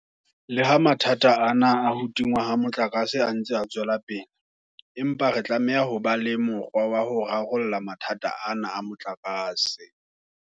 Le ha mathata ana a ho tingwa ha motlakase a ntse a tswela pele, empa re tlameha ho ba le mokgwa wa ho rarolla mathata ana a motlakase.